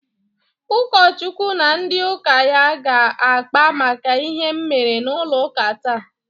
Ụkọchukwu na ndị ụka ya aga-akpa maka ihe m mere n'ụlọ ụka taa?